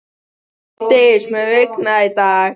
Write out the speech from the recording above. Vigdís, mun rigna í dag?